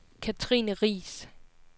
Cathrine Riis